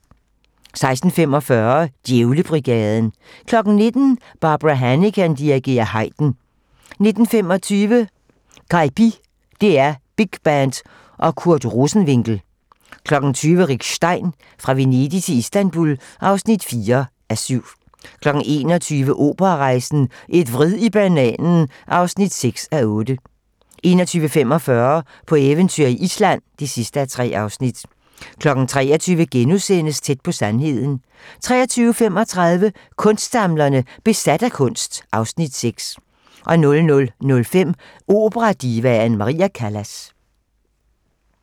16:45: Djævlebrigaden 19:00: Barbara Hannigan dirigerer Haydn 19:25: Caipi - DR Big Band & Kurt Rosenwinkel 20:00: Rick Stein: Fra Venedig til Istanbul (4:7) 21:00: Operarejsen - Et vrid i bananen (6:8) 21:45: På eventyr i Island (3:3) 23:00: Tæt på sandheden * 23:35: Kunstsamlerne: Besat af kunst (Afs. 6) 00:05: Operadivaen Maria Callas